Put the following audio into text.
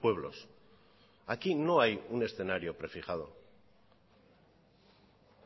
pueblos aquí no hay un escenario prefijado